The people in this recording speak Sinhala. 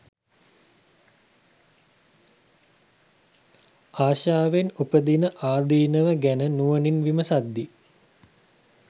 ආශාවෙන් උපදින ආදීනව ගැන නුවණින් විමසද්දී